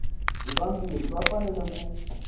hi vambirhi va fanele ku